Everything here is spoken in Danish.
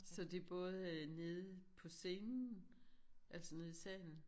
Så det både øh nede på scenen? Altså nede i salen